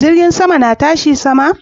Jirgi na tashi sama?